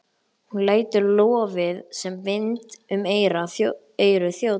Hún lætur lofið sem vind um eyru þjóta.